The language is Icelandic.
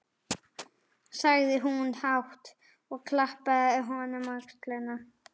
sagði hún hátt, og klappaði honum á öxlina.